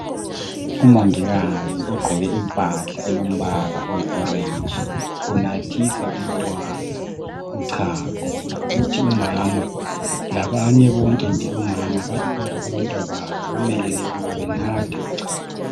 Umongikazi ogqoke impahla elombala oyiorenji unathisa umntwana uchago kuthi umama labanye bonke nje omama abantwababo bamelele ukuba benathe uchago.